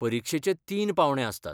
परिक्षेचे तीन पांवडे आसतात.